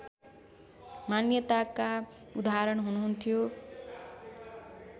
मान्यताका उदाहरण हुनुहुन्थ्यो